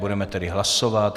Budeme tedy hlasovat.